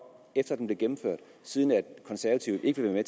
efter at den blev gennemført siden konservative ikke vil være